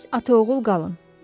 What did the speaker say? Siz ataoğul qalın.